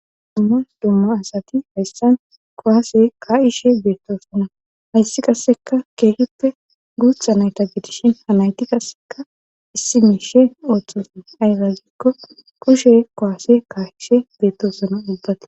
Dummas dumma asati hayssan kowaase kaa'ishe beettosonna hayssi qasseka keegippe guutha nayta gidishin hanayti kasseka issi miishe ooththoson aygagikko kushe kowase kaa'ishe beettosona ubbate